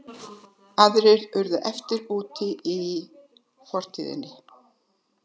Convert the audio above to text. Aðrir urðu eftir útí forinni.